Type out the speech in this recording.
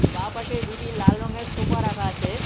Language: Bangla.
বা পাশে দুটি লাল রঙের সোফা রাখা আছে।